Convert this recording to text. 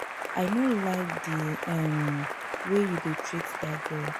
I no like the um way you dey treat dat girl.